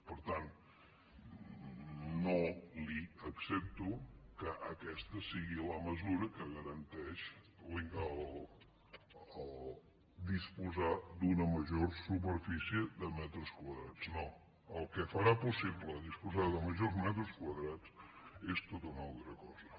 per tant no li accepto que aquesta sigui la mesura que garanteix disposar d’una major superfície de metres quadrats no el que farà possible disposar de majors metres quadrats és tota una altra cosa